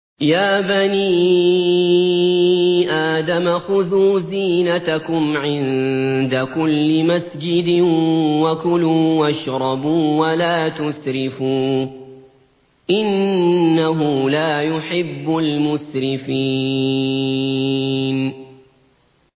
۞ يَا بَنِي آدَمَ خُذُوا زِينَتَكُمْ عِندَ كُلِّ مَسْجِدٍ وَكُلُوا وَاشْرَبُوا وَلَا تُسْرِفُوا ۚ إِنَّهُ لَا يُحِبُّ الْمُسْرِفِينَ